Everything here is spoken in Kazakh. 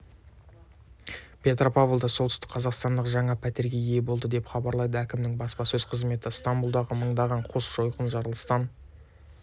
петропавлда солтүстікқазақстандық жаңа пәтерге ие болды деп хабарлайды әкімінің баспасөз қызметі ыстамбұлдағы маңындағы қос жойқын жарылыстан